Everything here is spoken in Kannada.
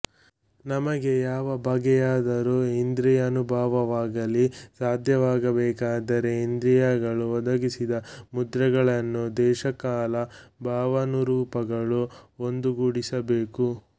ನಮಗೆ ಯಾವ ಬಗೆಯಾದ ಇಂದ್ರಿಯಾನುಭವವಾಗಲಿ ಸಾಧ್ಯವಾಗಬೇಕಾದರೆ ಇಂದ್ರಿಯಗಳು ಒದಗಿಸಿದ ಮುದ್ರೆಗಳನ್ನು ದೇಶ ಕಾಲ ಭಾವನಾರೂಪಗಳು ಒಂದುಗೂಡಿಸಬೇಕು